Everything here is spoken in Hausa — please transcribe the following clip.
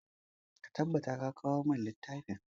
Ka tabbata ka kawo mun littafin!